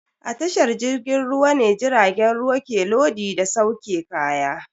A tashar jirgin ruwa ne jiragen ruwa ke lodi da sauke kaya.